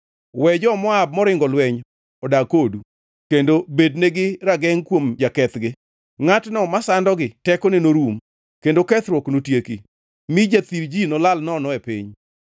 We jo-Moab moringo lweny odag kodu kendo bednegi ragengʼ kuom jakethgi.” Ngʼatno masandogi tekone norum, kendo kethruok notieki; mi jathir ji nolal nono e piny.